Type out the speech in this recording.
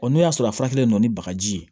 n'o y'a sɔrɔ a faralen no ni bagaji ye